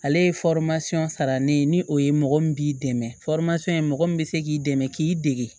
Ale ye sara ne ye ni o ye mɔgɔ min b'i dɛmɛ mɔgɔ min bɛ se k'i dɛmɛ k'i dege